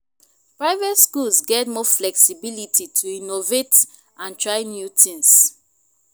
private schools get more flexibility to innovate and try new things.